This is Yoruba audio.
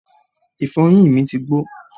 ìfọyín mi ti gbó